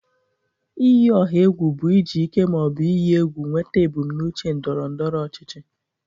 Iyi ọha egwu bụ iji ike ma ọ bụ iyi egwu nweta ebumnuche ndọrọ ndọrọ ọchịchị.